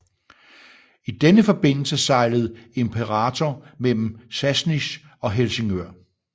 I denne forbindelse sejlede Imperator mellem Sassnitz og Helsingør